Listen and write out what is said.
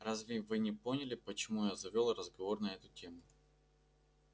разве вы не поняли почему я завёл разговор на эту тему